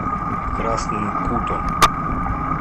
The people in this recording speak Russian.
красным кутом